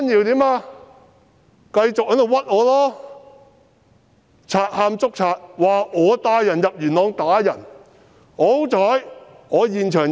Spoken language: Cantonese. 他繼續誣衊我、賊喊捉賊，指我帶人入元朗打人。